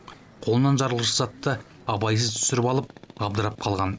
қолынан жарылғыш затты абайсыз түсіріп алып абдырап қалған